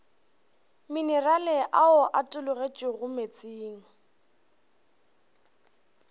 minerale ao a tologetšego meetseng